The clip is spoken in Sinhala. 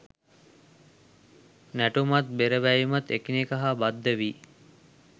නැටුමත් බෙර වැයුමත් එකිනෙක හා බද්ධ වී